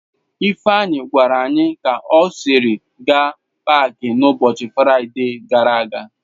Ifeanyi gwara anyi ka o siri gaa n'paaki a n'ụbọchị Fraide gara aga.